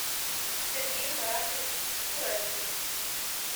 сергей маратович сурайкин